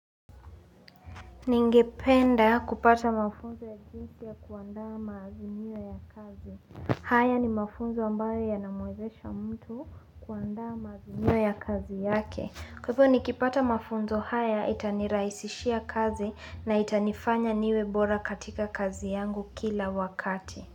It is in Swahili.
Ningependa kupata mafunzo ya jinsi ya kuandaa mazinimio ya kazi. Haya ni mafunzo ambayo yanamwezesha mtu kuandaa mazimio ya kazi yake. Kwa hivyo nikipata mafunzo haya itaniraisishia kazi na itanifanya niwebora katika kazi yangu kila wakati.